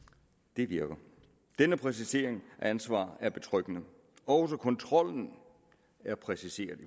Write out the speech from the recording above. det virker denne præcisering af ansvaret er betryggende også kontrollen er præciseret i